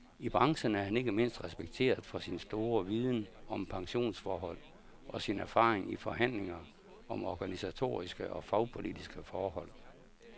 I branchen er han ikke mindst respekteret for sin store viden om pensionsforhold og sin erfaring i forhandlinger om organisatoriske og fagpolitiske forhold.